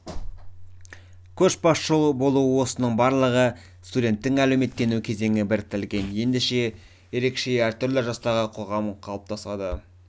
көшбасшы болу осының барлығы студенттің әлеуметтену кезеңі біріктірілген ерекше әртүрлі жастағы қоғам қалыптасады